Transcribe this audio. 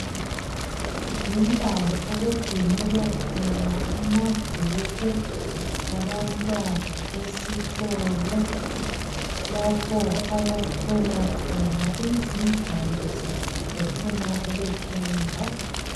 Yindawo okugcinelwa khona amabhuku abantwana besikolo, lapho abatholakhona izingwalo zabo befuna ukufunda.